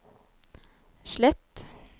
slett